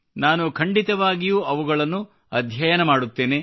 ನಾನು ಖಂಡಿತವಾಗಿಯೂ ಅವುಗಳನ್ನು ಅಧ್ಯಯನ ಮಾಡುತ್ತೇನೆ